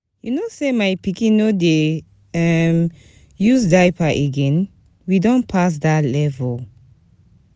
You know sey my pikin no dey use diaper again? We don pass dat level.